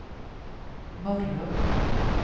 Mörrum